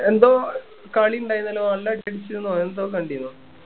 എന്തോ കളി ഇണ്ടായിരുന്നല്ലോ നല്ല അടി അടിച്ചുന്നോ എന്തോ കണ്ടിരുന്നു